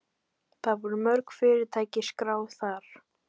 Það voru mörg fyrirtæki skráð þar